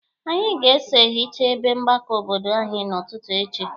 Anyị ga-eso ehicha ebe mgbakọ obodo anyị n'ụtụtụ echi.